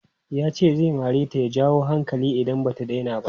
Yace zai mareta ya jawo hankali idan bata daina ba.